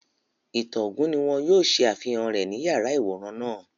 Ìtàn ogún ni wọ́n yóò ṣe àfihàn rẹ̀ ní yàrá-ìwòran náà